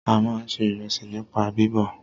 A máà ń ṣe ìrẹsì nípa bíbọ̀.